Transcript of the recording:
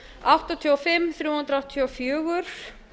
áttatíu og fimm þrjú hundruð áttatíu og fjögur